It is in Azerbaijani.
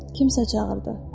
Kimsə çağırdı.